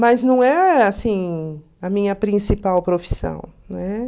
Mas não é, assim, a minha principal profissão, né?